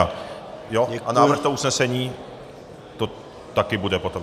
A návrh toho usnesení to taky bude potom.